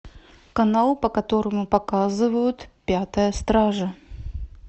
канал по которому показывают пятая стража